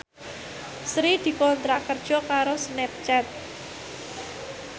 Sri dikontrak kerja karo Snapchat